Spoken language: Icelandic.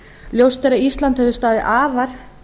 ljóst er að ísland hefur staðið afar